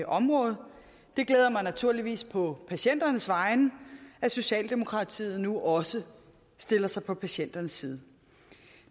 område det glæder mig naturligvis på patienternes vegne at socialdemokratiet nu også stiller sig på patienternes side